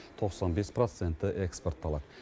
тоқсан бес проценті экспортталады